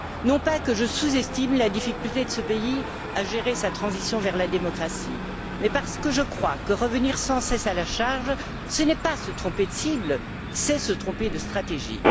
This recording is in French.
Non pas que je sous estime la difficulté de ce pays à gérer sa transition vers la démocratie, mais parce que je crois que revenir sans cesse à la charge, ce n'est pas se tromper de cible, c'est se tromper de stratégie.